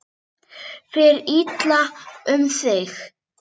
Fer illa um þig?